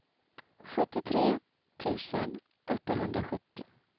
sjuttiotre tusen åttahundrasjuttio